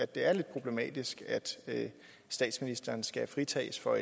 det er lidt problematisk at statsministeren skal fritages for